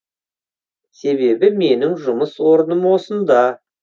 себебі менің жұмыс орным осында